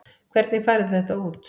Hvernig færðu þetta út?